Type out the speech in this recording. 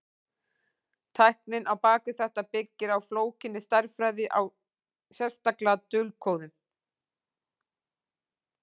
Tæknin á bak við þetta byggir á flókinni stærðfræði, sérstaklega dulkóðun.